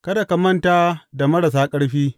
Kada ka manta da marasa ƙarfi.